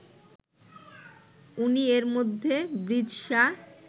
উনি এরমধ্যে ব্রিজ শাহ